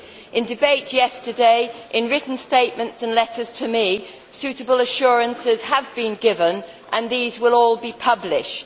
In debate yesterday, and in written statements and letters to me, suitable assurances have been given and these will all be published.